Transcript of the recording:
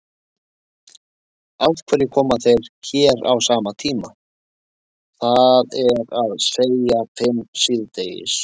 Af hverju koma þeir hérna á sama tíma, það er að segja fimm síðdegis?